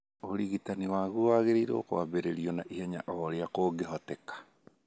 ũrigitani wagũo wagĩrĩirũo kwambĩrĩrio na ihenya o ũrĩa kũngĩhoteka.